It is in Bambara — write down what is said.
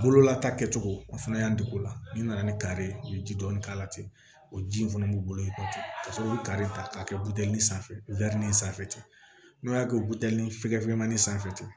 Bololata kɛcogo a fana y'an dege o la n'i nana ni kari ye u ye ji dɔɔni k'a la ten o ji in fana b'u bolo i ka sɔrɔ bɛ kare ta k'a kɛ buteli sanfɛ sanfɛ ten n'o y'a kɛ buteli fɛgɛfemanin sanfɛ ten